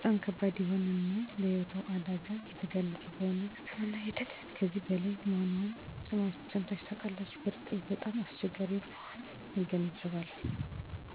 አወ ባህላዊ ህክምና ተጠቅሜ አውቃለሁ፤ በሽታውን ቢያድነኝም በጣም ከባድ እና ለሞት የሚያደርስ ነበር።